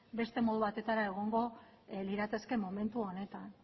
beste modu batera egongo lirateke momentu honetan